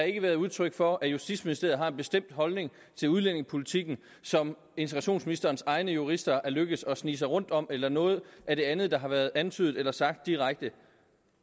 ikke været udtryk for at justitsministeriet har en bestemt holdning til udlændingepolitikken som integrationsministerens egne jurister er lykkedes at snige sig rundt om eller noget af det andet der har været antydet eller sagt direkte